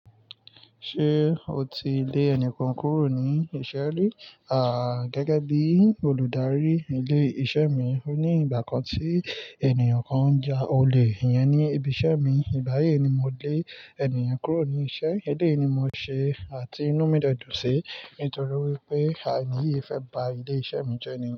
Ṣé o ti lé ẹni kan kúrò ní iṣẹ́ rí? Gẹ́gẹ́ bí olùdarí ilé-iṣẹ́ mi, ó ní ìgbà kan tí ènìyàn kan ń ja olè iyẹn ní ibi iṣẹ́ mi. Ìgbáyi ni mo lé ènì yen kúrò ní iṣẹ́. Eléyìí ni mo ṣe àti inú mi de dún sí, nítorí wípé ení yì fẹ́ ba ilé iṣẹ́ mi jẹni.